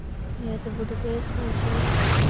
я это буду переслушивать